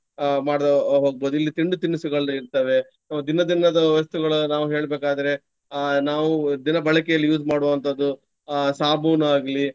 ಅಹ್ ಮಾಡುತ್ತಾ ಹೋಗ್ಬಹುದು. ಇಲ್ಲಿ ತಿಂಡಿ ತಿನಿಸುಗಳು ಇರ್ತವೆ. ದಿನ ದಿನದ ವಸ್ತುಗಳು ನಾವು ಹೇಳ್ಬೆಕಾದ್ರೆ ಅಹ್ ನಾವು ದಿನ ಬಳಕೆಯಲ್ಲಿ use ಮಾಡುವಂತಹದ್ದು ಅಹ್ ಸಾಬೂನಾಗ್ಲಿ.